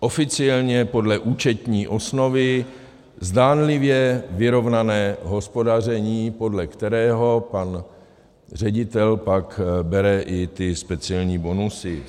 Oficiálně podle účetní osnovy zdánlivě vyrovnané hospodaření, podle kterého pan ředitel pak bere i ty speciální bonusy.